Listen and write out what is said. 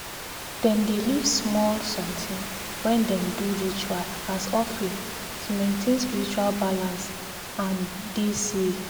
dem dey leave small sometin when dem dey do ritual as offering to maintain spiritual balance and dey safe